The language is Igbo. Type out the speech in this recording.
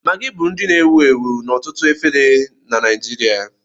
Maggi bụ nri na-ewu ewu n'ọtụtụ efere na Nijiria